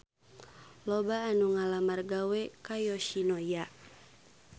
Loba anu ngalamar gawe ka Yoshinoya